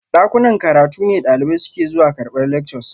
Dakunan karatu ne dalibai suke zuwa karbar lectures